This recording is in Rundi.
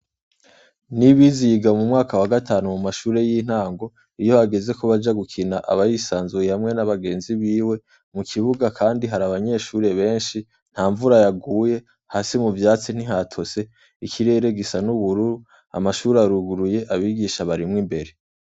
Niyibizi yiga mu mwaka wa gatanu mu mashure y' intango iyo hageze ko baja gukina aba yisanzuye n' abagenzi biwe mu kibuga kandi hari abanyeshure benshi nta mvura yaguye hasi mu vyatsi ntihatose ikirere gisa n' ubururu amashure aruguruye abigisha barimwo imbere.